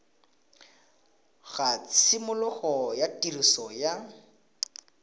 ga tshimologo ya tiriso ya